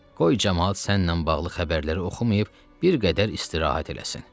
Qoy camaat sənnən bağlı xəbərləri oxumayıb bir qədər istirahət eləsin.